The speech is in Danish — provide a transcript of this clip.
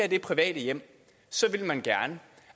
i private hjem vil man gerne